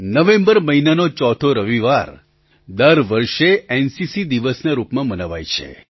November મહિનાનો ચોથો રવિવાર દર વર્ષે એનસીસી દિવસના રૂપમાં મનાવાય છે